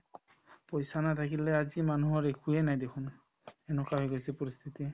পইচা নাথাকিলে আজিৰ মানুহৰ একোয়ে নাই দেখুন এনেকুৱা হৈ গৈছে পৰিস্থিতি